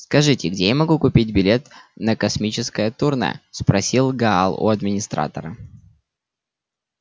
скажите где я могу купить билет на космическое турне спросил гал у администратора